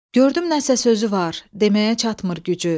Gördüm nəsə sözü var, deməyə çatmır gücü.